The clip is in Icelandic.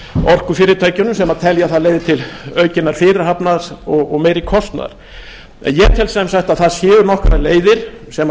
orkufyrirtækjunum sem telja það leið til aukinnar fyrirhafnar og meiri kostnaðar en ég tel sem sagt að það séu nokkrar leiðir sem